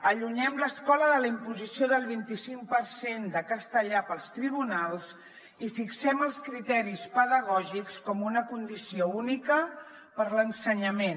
allunyem l’escola de la imposició del vint i cinc per cent de castellà pels tribunals i fixem els criteris pedagògics com una condició única per a l’ensenyament